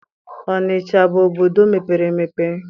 Ọnịcha abụ obodo mepere emepe?